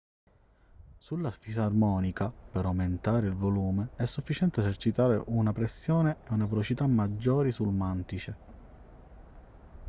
sulla fisarmonica per aumentare il volume è sufficiente esercitare una pressione e una velocità maggiori sul mantice